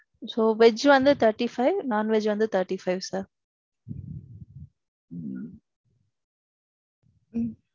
So, veg வந்து thirty-five. non-veg வந்து thirty-five sir.